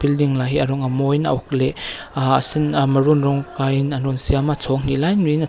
building lah hi a rawng a mawiin a uk leh ahh a sen ah maroon rawng kaiin an rawn siam a chhawng hnih lai maiin--